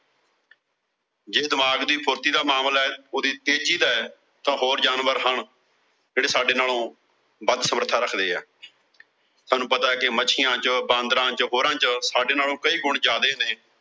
ਜੇ ਦਿਮਾਗ ਦੀ ਫੁਰਤੀ ਦਾ ਮਾਮਲਾ, ਉਹਦੀ ਤੇਜ਼ੀ ਦਾ, ਤਾਂ ਹੋਰ ਜਾਨਵਰ ਹਨ, ਜਿਹੜੇ ਸਾਡੇ ਨਾਲੋਂ ਵੱਧ ਸਮਰੱਥਾ ਰੱਖਦੇ ਆ। ਸਾਨੂੰ ਪਤਾ ਕਿ ਮੱਛੀਆਂ ਚ, ਬਾਂਦਰਾਂ ਚ, ਹੋਰਾਂ ਚ ਸਾਡੇ ਨਾਲੋਂ ਕਈ ਗੁਣ ਜ਼ਿਆਦੇ ਨੇ।